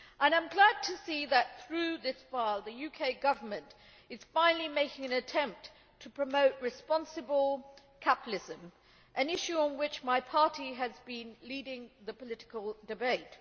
I am glad to see that, through this file, the UK government is finally making an attempt to promote responsible capitalism, an issue on which my party has been leading the political debate.